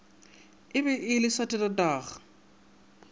e be e le saterdag